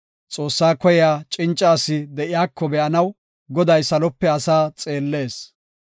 Xoossaa koyiya cinca asi de7iyako be7anaw, Goday salope asaa xeellees.